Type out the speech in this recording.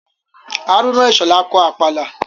Hárúnà Ìṣhọ̀lá kọ Àpàlà